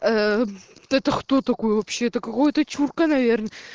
это кто такой вообще это какой-то чурка наверно